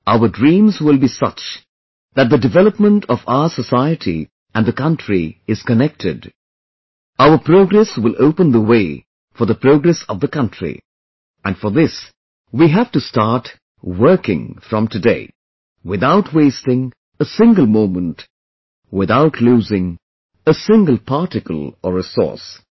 Our dreams will be such that the development of our society and the country is connected, our progress will open the way for the progress of the country and for this, we have to start working from today, without wasting a single moment, without losing a single particle or resource